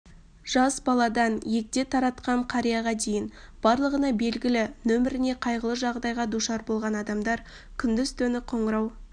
жас баладан егде тартқан қарияға дейін барлығына белгілі нөміріне қайғылы жағдайға душар болған адамдар күндіз-түні қоңырау